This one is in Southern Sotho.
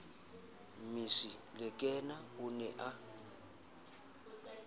mmisi lekena o ne a